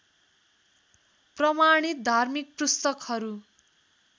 प्रमाणित धार्मिक पुस्तकहरू